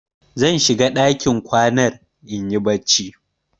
Zan shiga ɗakin kwanar in yi barci.